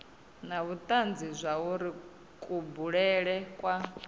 na vhutanzi zwauri kubulele kwa